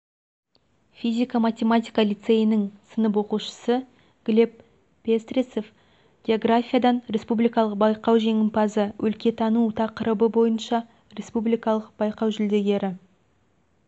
физика-математика лицейінің сынып оқушысы глеб пестрецев географиядан республикалық байқау жеңімпазы өлкетану бақырыбы бойынша республикалық байқау жүлдегері